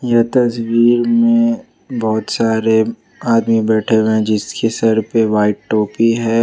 यह तस्वीर में बहुत सारे आदमी बैठे हुए हैं जिसके सर पे वाइट टोपी है।